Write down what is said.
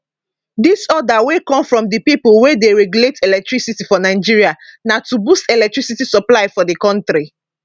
dis order wey come from di pipo wey dey regulate electricity for nigeria na to boost electricity supply for di kontri